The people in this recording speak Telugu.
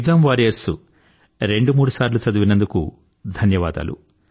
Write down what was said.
ఎక్సామ్ వారియర్స్ రెండుమూడుసార్లు చదివినందుకు ధన్యవాదాలు